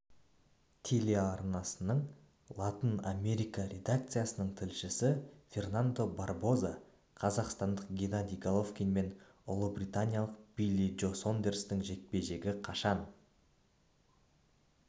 телеарнасының латынамерика редакциясының тілшісі фернандо барбоза қазақстандық геннадий головкин мен ұлыбританиялық билли джо сондерстің жекпе-жегі қашан